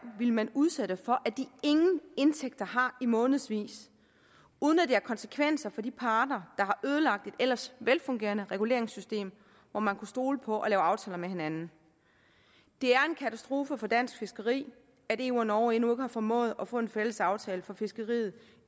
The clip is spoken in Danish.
ville man udsætte for at de ingen indtægter har i månedsvis uden at det har konsekvenser for de parter der har ødelagt et ellers velfungerende reguleringssystem hvor man kunne stole på at lave aftaler med hinanden det er en katastrofe for dansk fiskeri at eu og norge endnu ikke har formået at få en fælles aftale for fiskeriet